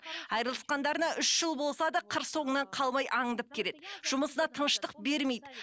айырылысқандарына үш болса да қыр соңынан қалмай аңдып келеді жұмысына тыныштық бермейді